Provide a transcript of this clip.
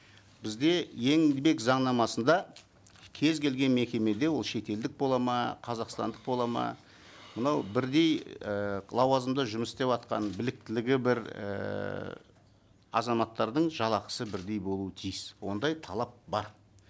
бізде еңбек заңнамасында кез келген мекемеде ол шетелдік болады ма қазақстандық болады ма мынау бірдей і лауазымда жұмыс істеватқан біліктілігі бір ііі азаматтардың жалақысы бірдей болуы тиіс ондай талап бар